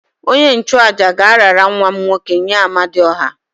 Onye-nchu-àjà ga-arara nwa m nwoke nye Amadiọha